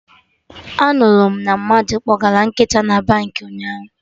Anụrụ m na mmadụ kpọgara nkịta na Baankị ụnyaahụ